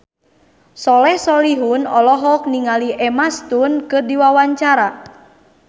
Soleh Solihun olohok ningali Emma Stone keur diwawancara